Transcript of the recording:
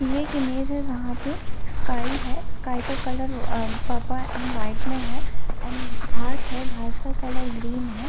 ये एक इमेज है जहाँ पे स्काई है स्काई का colour ah purple and white में है एंड घास है घास का कलर ग्रीन हैं ।